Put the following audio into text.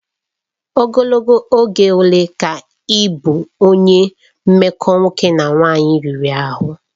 Ogologo oge ole ka ị bụ onye mmekọ nwoke na nwanyị riri ahụ?